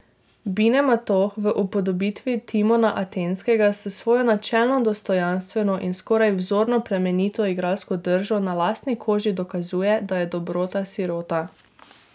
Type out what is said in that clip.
Bine Matoh v upodobitvi Timona Atenskega s svojo načelno dostojanstveno in skoraj vzorno plemenito igralsko držo na lastni koži dokazuje, da je dobrota sirota.